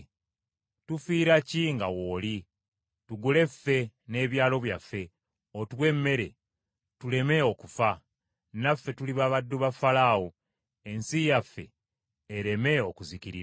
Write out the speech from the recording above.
Tufiira ki nga w’oli? Tugule ffe n’ebyalo byaffe otuwe emmere tuleme okufa, naffe tuliba baddu ba Falaawo, ensi yaffe ereme okuzikirira.”